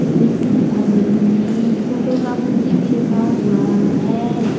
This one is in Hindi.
व्यक्ति दिखाई दे रही है फोटो का मूर्ति भी रखा हुआ है।